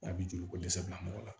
A bi joli ko dɛsɛ bila mɔgɔ la